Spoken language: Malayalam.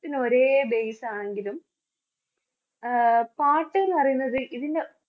ഒരേ base ആണെങ്കിലും ആഹ് പാട്ട്ന്ന് പറയുന്നത് ഇതിൻറെ